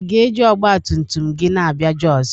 ị ga-eji ọgbatumtum gị na-abịa Jos?